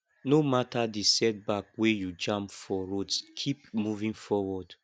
no mata di setback wey you jam for road kip moving forward